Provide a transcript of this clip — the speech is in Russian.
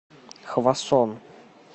хвасон